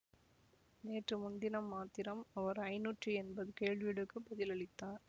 நேற்று முன்தினம் மாத்திரம் அவர் ஐநூற்றி எண்பது கேள்விகளுக்கு பதில் அளித்தார்